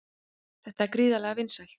Þetta er gríðarlega vinsælt